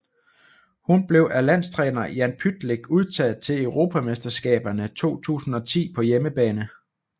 Hun blev af landstræner Jan Pytlick udtaget til Europamesterskaberne 2010 på hjemmebane